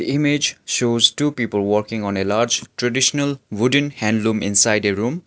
image shows two people working on a large traditional wooden handloom inside a room.